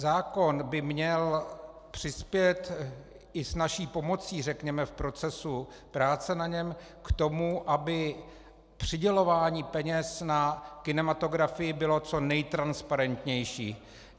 Zákon by měl přispět i s naší pomocí, řekněme, v procesu práce na něm k tomu, aby přidělování peněz na kinematografii bylo co nejtransparentnější.